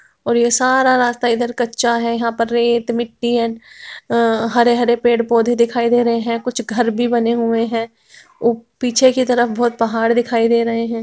और ये सारा रास्ता इधर कच्चा है| यहाँ पे रेत मिट्टी है| हरे-हरे पेड़-पौधे दिखाई दे रहे हैं| कुछ घर भी बने हुए हैं| पीछे की तरफ बहुत पहाड़ दिखाई दे रहे हैं।